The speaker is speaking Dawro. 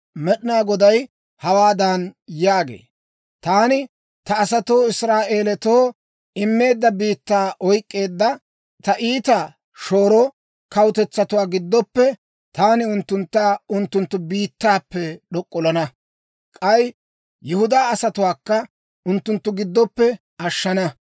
Med'inaa Goday hawaadan yaagee; «Taani ta asatoo Israa'elatoo immeedda biittaa oyk'k'eedda, ta iita shooro kawutetsatuwaa gidooppe, taani unttuntta unttunttu biittappe d'ok'ollana. K'ay Yihudaa asatuwaakka unttunttu giddoppe ashana.